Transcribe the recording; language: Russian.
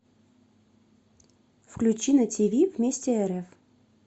включи на тв вместе рф